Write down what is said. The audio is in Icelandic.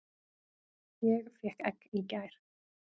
Ég fékk egg í gær.